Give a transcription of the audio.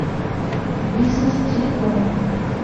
бизнес телеком